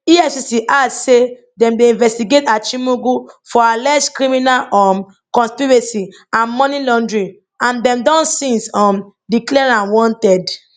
efcc add say dem dey investigate achimugu for alleged criminal um conspiracy and money laundering and dem don since um declare am wanted